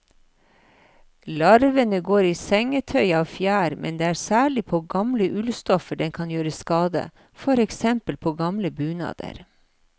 Larvene går i sengetøy av fjær, men det er særlig på gamle ullstoffer den kan gjøre skade, for eksempel på gamle bunader.